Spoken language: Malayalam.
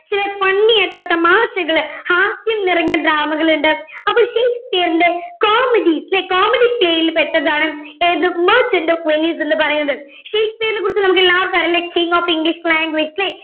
ചില funny ആയിട്ടുള്ള തമാശകള് ഹാസ്യം നിറഞ്ഞ drama കളുണ്ട് അപ്പൊ ഷേക്സ്പിയറിൻറെ comedy അല്ലെ comedy scale ൽ പെട്ടതാണ് the merchant of Venice എന്ന് പറയുന്നത് ഷേക്സ്പിയറിനെ കുറിച്ച് നമുക്കെല്ലാവർക്കും അറിയാല്ലേ the king of english language അല്ലെ